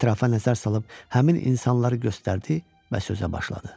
Ətrafa nəzər salıb həmin insanları göstərdi və sözə başladı.